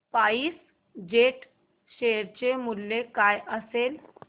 spice jet share चे मूल्य काय असेल